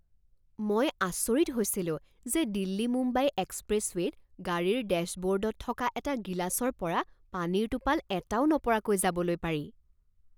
মই আচৰিত হৈছিলো যে দিল্লী মুম্বাই এক্সপ্ৰেছৱে'ত গাড়ীৰ ডেশ্ববৰ্ডত থকা এটা গিলাচৰ পৰা পানীৰ টোপাল এটাও নপৰাকৈ যাবলৈ পাৰি।